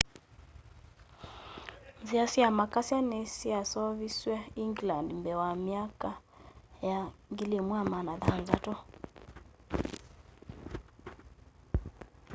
nzia sya makasya ni syaseoviswe england mbee wa myaka ya 1600